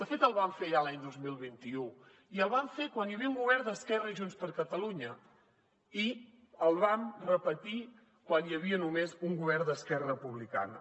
de fet el vam fer ja l’any dos mil vint u i el vam fer quan hi havia un govern d’esquerra i junts per catalunya i el vam repetir quan hi havia només un govern d’esquerra republicana